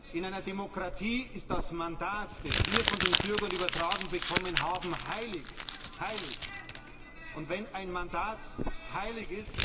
In einer Demokratie ist das Mandat, das wir von den Bürgern übertragen bekommen haben, heilig heilig!